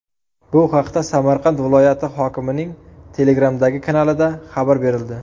Bu haqda Samarqand viloyati hokimining Telegram’dagi kanalida xabar berildi .